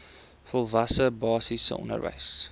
volwasse basiese onderwys